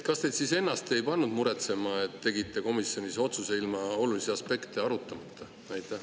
Kas teid ennast ei pannud muretsema, et te tegite komisjonis otsuse ilma olulisi aspekte arutamata?